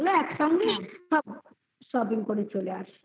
একসঙ্গে shopping করে চলে আসি হুম এমনি সময়